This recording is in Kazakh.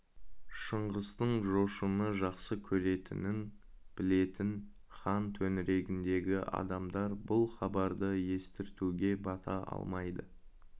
шыңғыстың жошыны жақсы көретінін білетін хан төңірегіндегі адамдар бұл хабарды естіртуге бата алмайды